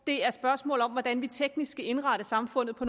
er et spørgsmål om hvordan vi teknisk skal indrette samfundet på